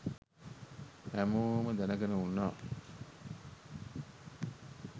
හැමෝම දැනගෙන උන්නා